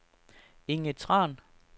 Inge Tran